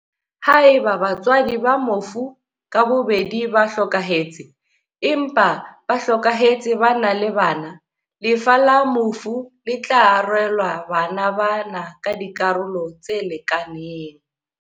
Haeba batswadi ba mofu ka bobedi ba hlokahetse, empa ba hlokahetse ba na le bana, lefa la mofu le tla arolelwa bana ba na ka dikarolo tse lekanang.